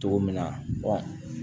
Cogo min na